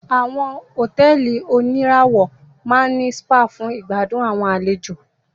Àwọn hotẹ́ẹ́li oníràwọ̀ máa ní spa fún ìgbàdùn àwọn àlejò.